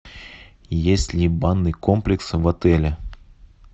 есть ли банный комплекс в отеле